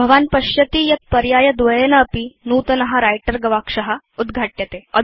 भवान् पश्यति यत् पर्यायद्वयेनापि नूतन व्रिटर गवाक्ष उद्घाट्यते